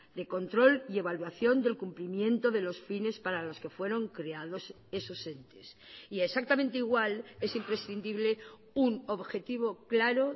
de control y evaluación del cumplimiento de los fines para los que fueron creados esos entes y exactamente igual es imprescindible un objetivo claro